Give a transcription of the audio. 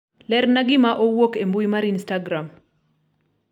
lerna gima owuok e mbui mar instagram